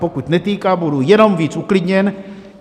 Pokud netýká, budu jenom víc uklidněn.